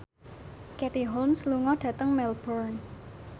Katie Holmes lunga dhateng Melbourne